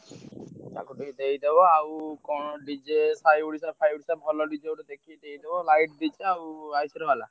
ତାକୁ ଦେଇଦବ ଆଉ କଣ DJ ସାଇଓଡ଼ିଶା ଫାଇଓଡ଼ିଶା ଭଲ DJ ଗୋଟେ ଦେଖିକି ଦେଇଦବ light ଆଉ ବାଲା।